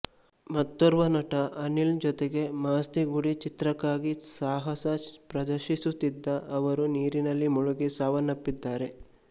ಮತ್ತೋರ್ವ ನಟ ಅನಿಲ್ ಜೊತೆಗೆ ಮಾಸ್ತಿ ಗುಡಿ ಚಿತ್ರಕ್ಕಾಗಿ ಸಾಹಸ ಪ್ರದರ್ಶಿಸುತ್ತಿದ್ದ ಅವರು ನೀರಿನಲ್ಲಿ ಮುಳುಗಿ ಸಾವನ್ನಪ್ಪಿದ್ದಾರೆ